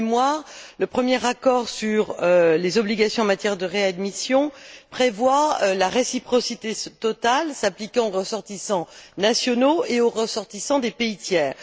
Pour mémoire, le premier accord sur les obligations en matière de réadmission prévoit la réciprocité totale s'appliquant aux ressortissants nationaux et aux ressortissants des pays tiers.